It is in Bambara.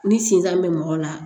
Ni sinzan be mɔgɔ la